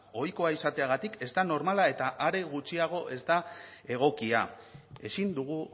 ohikoa izateagatik ez normala eta are gutxiago ez da egokia ezin dugu